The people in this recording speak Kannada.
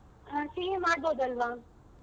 CA ಮಾಡ್ಬಹುದು ಅಲ್ವ.